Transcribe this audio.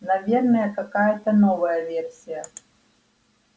наверное какая-та новая версия